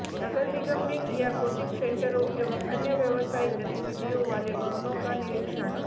नगर निगम ने किया कोचिंग सेंटरों एवं अन्य व्यवसायिक गतिविधियों वाले भवनों का निरीक्षण